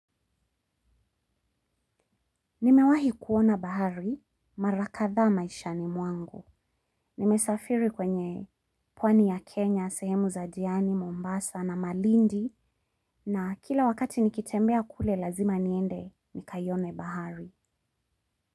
Nimewahi kuona bahari, mara kadha maishani mwangu. Nimesafiri kwenye pwani ya Kenya, Sehemu Za diani, Mombasa na Malindi na kila wakati nikitembea kule lazima niende nikaione bahari.